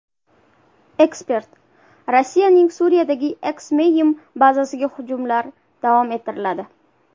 Ekspert: Rossiyaning Suriyadagi Xmeymim bazasiga hujumlar davom ettiriladi.